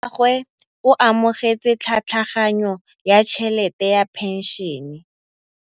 Rragwe o amogetse tlhatlhaganyô ya tšhelête ya phenšene.